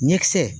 Ɲɛkisɛ